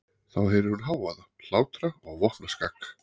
Þá heyrir hún hávaða, hlátra og vopnaskak.